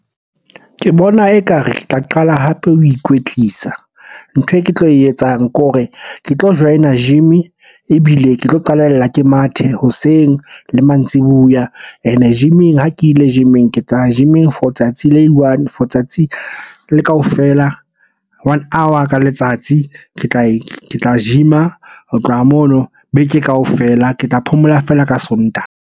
Ke bona ekare ke tla qala hape ho ikwetlisa. Ntho e ke tlo e etsang ke hore ke tlo join-a gym-e, ebile ke tlo qalella ke mathe hoseng le mantsiboya. Ene gym-eng ha ke ile gym-eng, ke tla ya gym-eng for tsatsi le i-one, for tsatsi le kaofela. One hour ka letsatsi, Ke tla gym-a. Ho tloha mono beke kaofela, ke tla phomola feela ka Sontaha.